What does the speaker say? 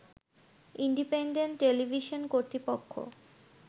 independent television কর্তৃপক্ষ